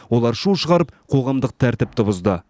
олар шу шығарып қоғамдық тәртіпті бұзды